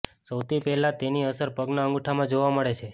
સૌથી પહેલા તેની અસર પગના અંગુઠામાં જોવા મળે છે